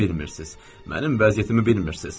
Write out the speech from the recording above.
Mənim vəziyyətimi bilmirsiniz.